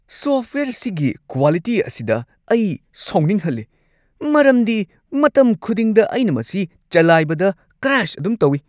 Software ꯑꯁꯤꯒꯤ quality ꯑꯁꯤꯗ ꯑꯩ ꯁꯥꯎꯅꯤꯡꯍꯜꯂꯤ ꯃꯔꯝꯗꯤ ꯃꯇꯝ ꯈꯨꯗꯤꯡꯗ ꯑꯩꯅ ꯃꯁꯤ ꯆꯂꯥꯏꯕꯗ ꯀ꯭ꯔꯥꯁ ꯑꯗꯨꯝ ꯇꯧꯏ ꯫